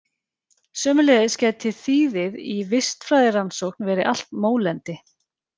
Sömuleiðis gæti þýðið í vistfræðirannsókn verið allt mólendi.